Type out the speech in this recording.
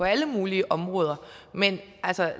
alle mulige områder men